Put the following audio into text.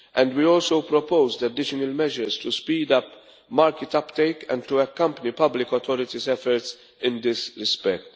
We also proposed additional measures to speed up market uptake and to accompany public authorities' efforts in this respect.